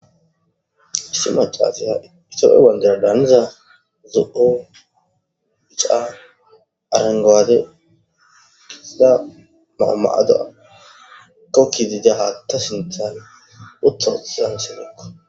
issi macaaseha itono wandera daaniza zuo ica arengwaade gisida maama7ada kokkidida haata sintaane utto siranselikka